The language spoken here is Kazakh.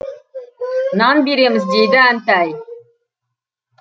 нан береміз дейді әнтай